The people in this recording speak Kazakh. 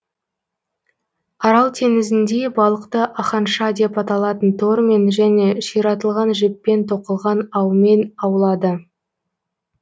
арал теңізінде балықты аханша деп аталатын тормен және ширатылған жіппен тоқылған аумен аулады